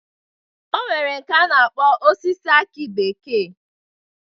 E nwere nke a na-akpọ osisi akị bekee